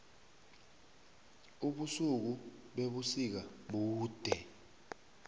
ubusuku bebusika bude